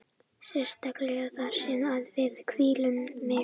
Sérstaklega þar sem að við hvíldum mig.